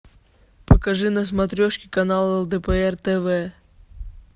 покажи на смотрешке канал лдпр тв